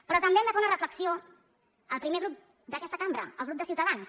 però també han de fer una reflexió al primer grup d’aquesta cambra al grup de ciutadans